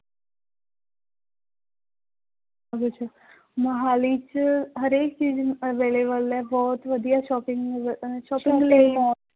ਉਹਦੇ ਚ ਮੁਹਾਲੀ ਚ ਹਰੇਕ ਚੀਜ਼ available ਹੈ ਬਹੁਤ ਵਧੀਆ shopping